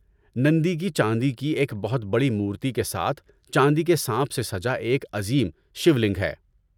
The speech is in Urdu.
‏نندی کی چاندی کی ایک بہت بڑی مورتی کے ساتھ چاندی کے سانپ سے سجا ایک عظیم شیو لنگ ہے